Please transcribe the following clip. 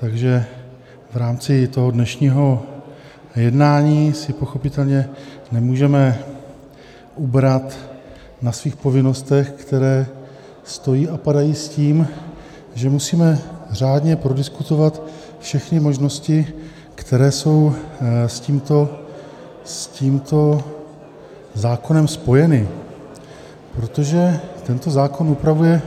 Takže v rámci toho dnešního jednání si pochopitelně nemůžeme ubrat na svých povinnostech, které stojí a padají s tím, že musíme řádně prodiskutovat všechny možnosti, které jsou s tímto zákonem spojeny, protože tento zákon upravuje